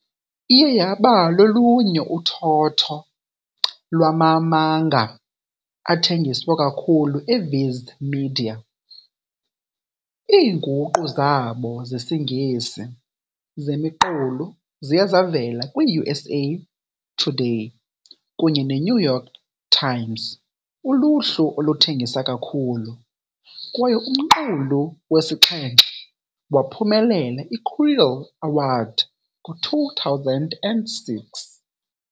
Iye yaba lolunye uthotho lwama-manga athengiswa kakhulu eViz Media, Iinguqu zabo zesiNgesi zemiqulu ziye zavela kwi-USA Today kunye ne-New York Times uluhlu oluthengisa kakhulu, kwaye umqulu wesixhenxe waphumelela i-Quill Award ngo-2006.